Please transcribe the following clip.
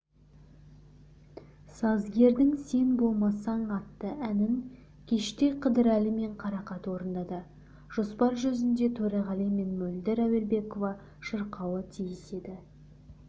сазгердің сен болмасаң атты әнін кеште қыдырәлі мен қарақат орындады жоспар жүзінде төреғали мен мөлдір әуелбекова шырқауы тиіс еді